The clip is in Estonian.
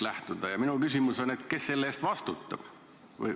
Minu küsimus on, kes selle eest vastutab.